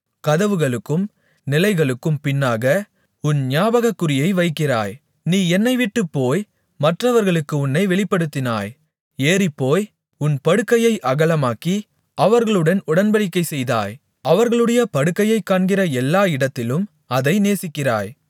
கதவுகளுக்கும் நிலைகளுக்கும் பின்னாக உன் ஞாபகக்குறியை வைக்கிறாய் நீ என்னைவிட்டுப்போய் மற்றவர்களுக்கு உன்னை வெளிப்படுத்தினாய் ஏறிப்போய் உன் படுக்கையை அகலமாக்கி அவர்களுடன் உடன்படிக்கைசெய்தாய் அவர்களுடைய படுக்கையைக் காண்கிற எல்லா இடத்திலும் அதை நேசிக்கிறாய்